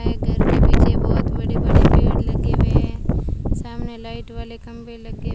है घर के पीछे बहोत बड़े बड़े पेड़ लगे हुए है सामने लाइट वाले खंभे लगे--